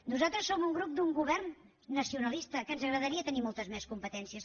nosaltres som un grup d’un govern nacionalista que ens agradaria tenir moltes més competències